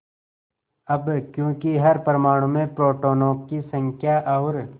अब क्योंकि हर परमाणु में प्रोटोनों की संख्या और